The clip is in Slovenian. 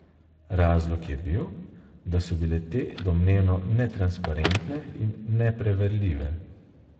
Razlog je bil, da so bile te domnevno netransparentne in nepreverljive.